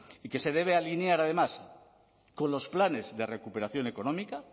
y que se debe alinear además con los planes de recuperación económica